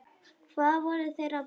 Hvað voru þeir að bralla?